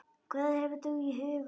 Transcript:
Hvað hefur þú í huga?